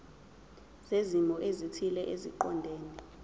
zezimo ezithile eziqondene